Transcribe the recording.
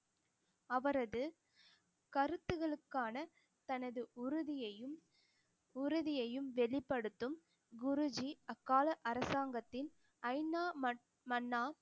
அவரது கருத்துகளுக்கான தனது உறுதியையும் உறுதியையும் வெளிப்படுத்தும் குருஜி அக்கால அரசாங்கத்தின்